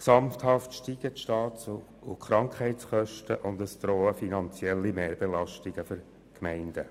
Gesamthaft steigen die Staats- und Krankheitskosten, und es drohen finanzielle Mehrbelastungen für die Gemeinden.